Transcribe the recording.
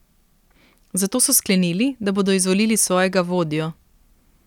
Zato so sklenili, da bodo izvolili svojega vodjo.